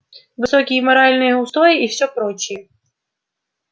высокие моральные устои и всё прочее